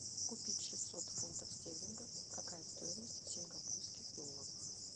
купить шестьсот фунтов стерлингов какая стоимость в сингапурских долларах